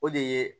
O de ye